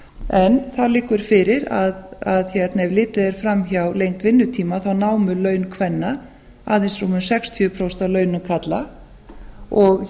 en það liggur fyrir að ef litið er fram hjá lengd vinnutíma námu laun kvenna aðeins rúmum sextíu prósent af launum karla og